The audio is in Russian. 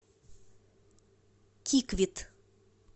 киквит